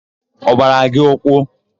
Ọ gbara gị ụkwụ?